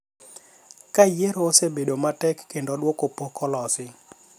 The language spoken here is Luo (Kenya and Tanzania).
kama yiero osebedo matek kendo duoko pok olosi.